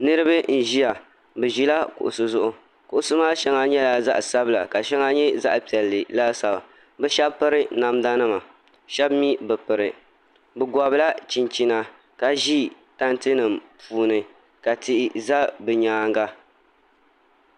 Niraba n ʒiya bi ʒila kuɣusi zuɣu kuɣusi maa shɛŋa nyɛla zaɣ sabila ka shɛŋa nyɛ zaɣ piɛlli laasabu bi shab piri namda nima shab mii bi piri bi gobila chinchina ka ʒi tanti nim puuni ka tihi ʒɛ bi nyaanga